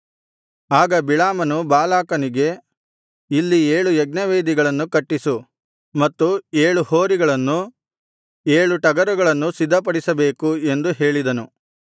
ಆಗ ಬಿಳಾಮನು ಬಾಲಾಕನಿಗೆ ಇಲ್ಲಿ ಏಳು ಯಜ್ಞವೇದಿಗಳನ್ನು ಕಟ್ಟಿಸು ಮತ್ತು ಏಳು ಹೋರಿಗಳನ್ನು ಮತ್ತು ಏಳು ಟಗರುಗಳನ್ನು ಸಿದ್ಧಪಡಿಸಬೇಕು ಎಂದು ಹೇಳಿದನು